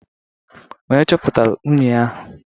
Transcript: Onye chọpụtalụ unyi ahụịa?